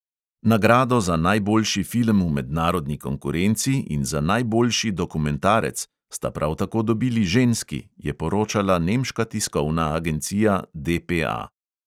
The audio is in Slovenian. Nagrado za najboljši film v mednarodni konkurenci in za najboljši dokumentarec sta prav tako dobili ženski, je poročala nemška tiskovna agencija DPA.